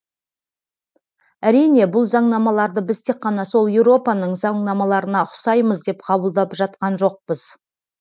әрине бұл заңнамаларды біз тек қана сол еуропаның заңнамаларына ұқсаймыз деп қабылдап жатқан жоқпыз